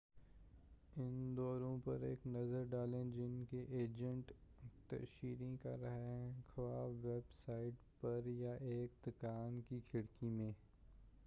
اُن دوروں پر ایک نظر ڈالیں جن کی ایجنٹ تشہیر کررہا ہے خواہ ویب سائٹ پر یا ایک دُکان کی کھڑکی میں